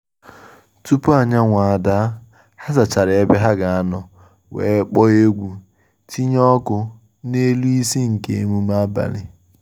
Tupu anyanwụ ada, ha zachara ebe ha ga anọ wee kpọọ egwu itinye ọkụ n’elu isi nke emume abalị